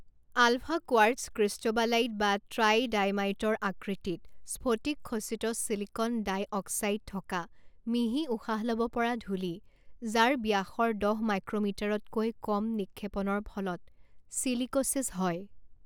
ULFA quartz cristobalite বা ট্ৰাইডাইমাইটৰ আকৃতিত স্ফটিকখচিত ছিলিকন ডাই অক্সাইড থকা মিহি উশাহ ল'ব পৰা ধূলি যাৰ ব্যাসৰ দহ মাইক্ৰ'মিটাৰতকৈ কম নিক্ষেপণৰ ফলত ছিলিক'ছিছ হয়।